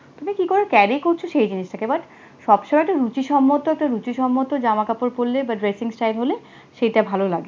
তুমি কি করে carry করছো সেই জিনিস সব সময় তো রুচিসম্মব হতে তো রুচিসম্মব জামা কাপড় পরলে dressing style হলে, সেইটা ভালো লাগবে,